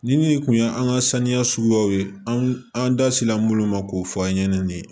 Ni min tun ye an ka saniya suguyaw ye an da sera munnu ma k'o fɔ an ɲɛnɛ nin ye